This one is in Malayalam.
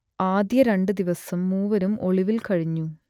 ആദ്യ രണ്ടു ദിവസം മൂവരും ഒളിവിൽ കഴിഞ്ഞു